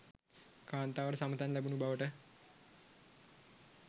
කාන්තාවට සමතැන් ලැබුණු බවට